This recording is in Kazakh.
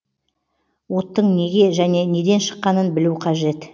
оттың неге және неден шыққанын білу қажет